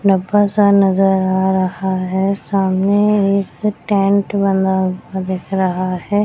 लंबा सा नजर आ रहा है सामने एक टेंट बना हुआ दिख रहा है।